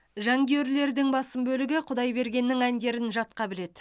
жанкүйерлердің басым бөлігі құдайбергеннің әндерін жатқа біледі